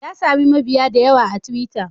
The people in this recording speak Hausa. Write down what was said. Ya sami mabiya da yawa a twitter.